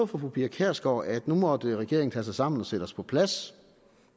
fru pia kjærsgaard at nu måtte regeringen tage sig sammen og sætte os på plads